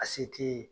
A se t'i ye